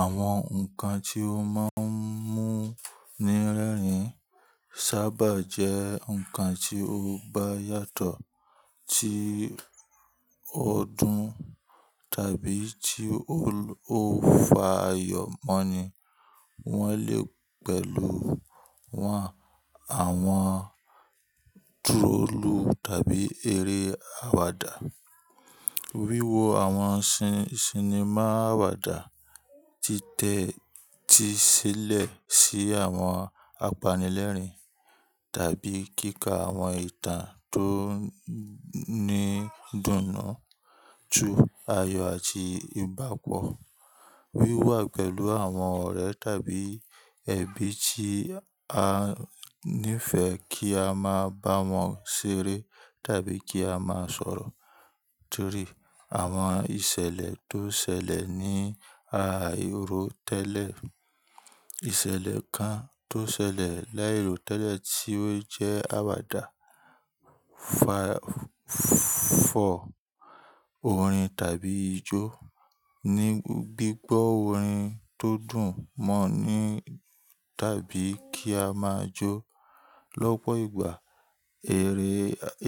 Àwọn ǹnkan tí o máa ń mú ní rẹ́rìn sábà jẹ́ nǹkan tí o bá yàtọ̀ tí ọ dún tàbí tí o ò fa ayọ̀ mọ́ ni. Wọ́n lè pẹ̀lú wọn, àwọn troll tàbí eré àwàdà. Wíwo àwọn cinema àwàdà tí tẹ́ ti ṣẹlẹ̀ sí àwọn apanilẹ́rìn tàbí kíkà àwọn ìtàn tó ní idùnnu. Ju ayọ̀ àti ìbápo. Wíwà pẹ̀lú àwọn ọ̀rẹ́ tàbí ẹ̀bi tí a nífẹ̀ẹ́ kí a máa bá wọn ṣeré tàbí kí a máa sọ̀rọ̀ torí àwọn ìṣẹ̀lẹ̀ tó ṣẹlẹ̀ ní iro tẹ́lẹ̀. Ìṣẹ̀lẹ̀ kan tó ṣẹlẹ̀ láì ró tẹ́lẹ̀ tí ó jẹ́ àwàdà fọ́ orin tàbí ijó. Ni gbígbọ́ orin tó dùn mọ́ ni tàbí kí a máa jó lọ́pọ̀ ìgbà. Eré,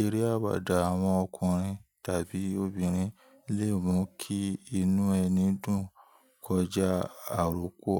eré àwàdà àwọn ọkùnrin tàbí obìnrin lè mú kí inú ẹni dùn kọjá àròkọ.